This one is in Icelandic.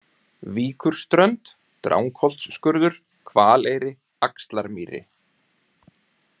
Víkurströnd, Drangsholtsskurður, Hvaleyri, Axlarmýri